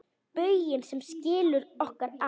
Bauginn sem skilur okkur að.